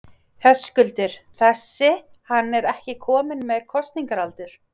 Höskuldur: Þessi, hann er ekki kominn með kosningaaldur?